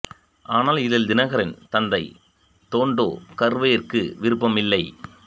ஆனால் இதில் தினகரின் தந்தை தோண்டோ கர்வேயிற்கு விருப்பம் இல்லை